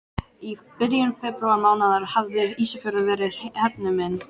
Í byrjun febrúarmánaðar hafði Ísafjörður verið hernuminn.